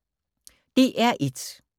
DR1